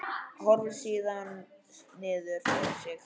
Horfir síðan niður fyrir sig.